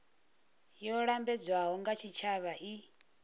yo lambedzwaho nga tshitshavha i